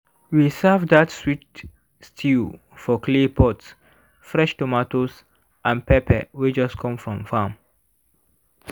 we serve dat sweet stew for clay pot fresh tomatoes and pepper wey just come from farm